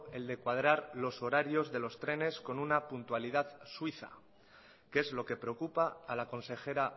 el de cuadrar los horarios de los trenes con una puntualidad suiza que es lo que preocupa a la consejera